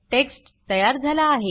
text तयार झाला आहे